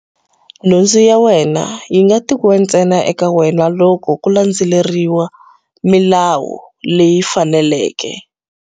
Nhundzu ya wena yi nga tekiwa ntsena eka wena loko ku landzeleriwe milawu leyi faneleke.